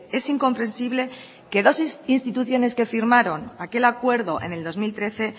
es incomprensible que dos instituciones que firmaron aquel acuerdo en el dos mil trece